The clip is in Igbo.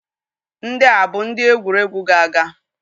Ndị a bụ ndị egwuregwu ga-aga?